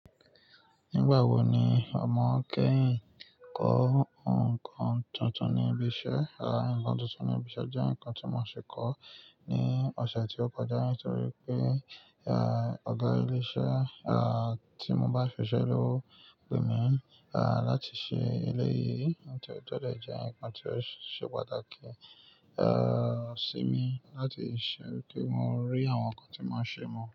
Nígbà wo ni ọmọ kẹ́yìn kọ́ nǹkan tuntun ní ibi iṣẹ́? Nǹkan tuntun ní ibi iṣẹ́ jẹ́ nǹkan tí mo ṣe kọ́ ní ọ̀sẹ̀ tí ó kọjá nítorí pé, ẹ́, ọ̀gá ilé iṣẹ́, ẹ́, tí mo bá ṣiṣẹ́ lówo emí, ẹ́, láti ṣe eléyìí, ó sì tẹ́lẹ̀ jẹ́ ǹkan tí ó ṣe pàtàkì, ẹ́, sí mi láti ṣe kí mo rí àwọn ǹkan tí wọn ṣe mọ.